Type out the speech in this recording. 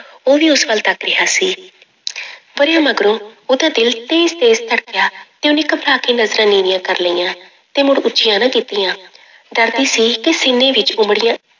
ਉਹ ਵੀ ਉਸ ਵੱਲ ਤੱਕ ਰਿਹਾ ਸੀ ਵਰ੍ਹੇ ਮਗਰੋਂ ਉਹਦਾ ਦਿਲ ਤੇਜ ਤੇਜ ਧੜਕਿਆ ਤੇ ਉਹਨੇ ਘਬਰਾ ਕੇ ਨਜ਼ਰਾਂ ਨੀਵੀਆਂ ਕਰ ਲਈਆਂ ਤੇ ਮੁੜ ਉੱਚੀਆਂ ਨਾ ਕੀਤੀਆਂ ਡਰਦੀ ਸੀ ਕਿ ਸੀਨੇ ਵਿੱਚ ਉਮੜੀਆਂ